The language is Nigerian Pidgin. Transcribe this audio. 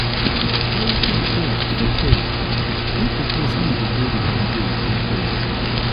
carry thick cloth for for cold if di place wey you dey go di holiday dey cold